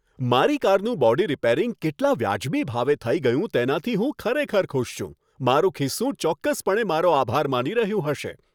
મારી કારનું body repairing કેટલાં વ્યાજબી ભાવે થઈ ગયું તેનાથી હું ખરેખર ખુશ છું, મારું ખિસ્સું ચોક્કસપણે મારો આભાર માની રહ્યું હશે!